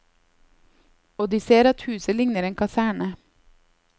Og de ser at huset ligner en kaserne.